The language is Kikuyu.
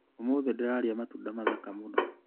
ũmũthĩ ndĩrarĩa matunda mathaka mũno.